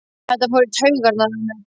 Þetta fór í taugarnar á mér.